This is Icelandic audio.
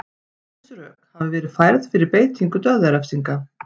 ýmis rök hafa verið færð fyrir beitingu dauðarefsinga